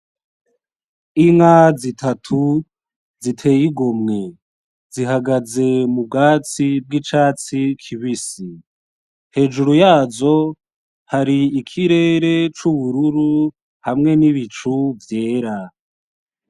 Inka zitatu ziteye igomwe zihagaze mubwatsi bw'icatsi kibisi hejuru yazo hari ikirere c'ubururu hamwe nibicu vyera .